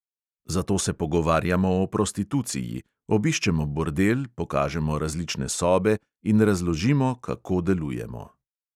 Zato se pogovarjamo o prostituciji, obiščemo bordel, pokažemo različne sobe in razložimo, kako delujemo.